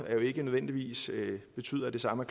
ikke nødvendigvis betyder at det samme